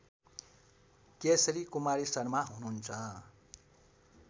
केशरी कुमारी शर्मा हुनुहुन्छ